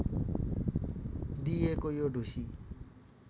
दिइएको यो ढुसी